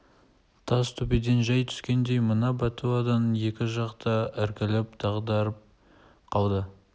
тас төбеден жәй түскендей мына бәтуадан екі жақ та іркіліп дағдарып қалды